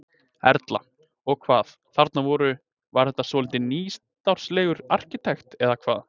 Erla: Og hvað, þarna voru, var þetta svolítið nýstárlegur arkitekt, eða hvað?